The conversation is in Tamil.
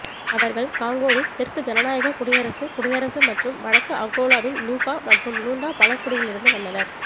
அவர்கள் காங்கோவின் தெற்கு ஜனநாயக குடியரசுக் குடியரசு மற்றும் வடக்கு அங்கோலாவின் லுபா மற்றும் லூண்டா பழங்குடியிலிருந்து வந்தனர்